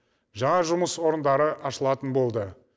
жаңа жұмыс орындары ашылатын болды